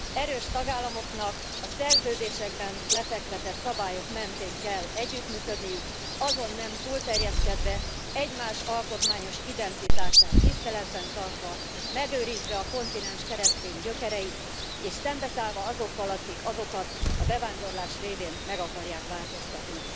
Erős tagállamoknak a szerződésekben lefektetett szabályok mentén kell együttműködniük, azon nem túlterjeszkedve, egymás alkotmányos identitását tiszteletben tartva, megőrizve a kontinens keresztény gyökereit és szembeszállva azokkal, akik azokat a bevándorlás révén meg akarják változtatni.